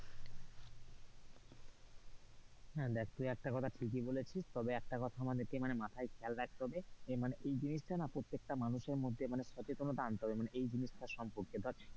হ্যাঁ, তুই একটা কথা ঠিকই বলেছিস তবে একটা কথা আমাদেরকে মানে মাথায় খেয়াল রাখতে হবে যে মানে এই জিনিসটা প্রত্যেকটা মানুষের মধ্যে সচেতনতা মানে সচেতনতা আনতে হবে মানে এই জিনিসটার সম্পর্কে।